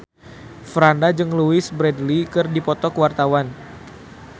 Franda jeung Louise Brealey keur dipoto ku wartawan